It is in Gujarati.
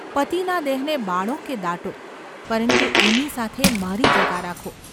પતિના દેહને બાળો કે દાટો, પરંતુ એની સાથે મારી જગા રાખો.